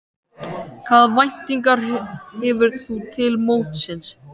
Hvaða væntingar hefur þú til mótsins?